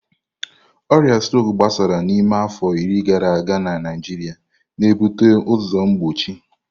Ọrịa strok agbasala n'ime afọ iri gara aga na Naịjirịa, na-ebute ụzọ mgbochi.